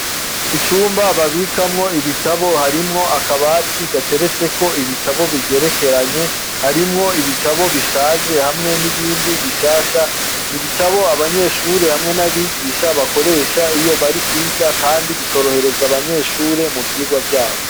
Icumba babikamwo ibitabo, harimwo akabati gateretseko ibitabo bigerekeranye, harimwo ibitabo bishaje hamwe n'ibindi bishasha, n'ibitabo abanyeshure n'abigisha bakoresha iyo bari kwiga kandi bikorohereza abanyeshure mu vyigwa vyabo.